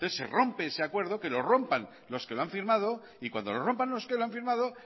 entonces se rompe ese acuerdo que lo rompan los que lo han firmado y cuando lo rompan los que lo han firmado